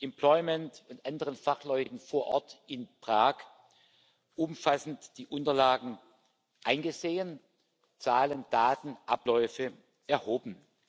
Employment und anderen Fachleuten vor Ort in Prag umfassend die Unterlagen eingesehen, Zahlen, Daten, Abläufe erhoben.